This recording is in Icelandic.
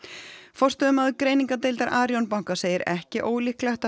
forstöðumaður greiningardeildar Arion banka segir ekki ólíklegt að